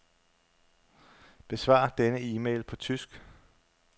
Besvar denne e-mail på tysk.